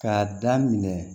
K'a daminɛ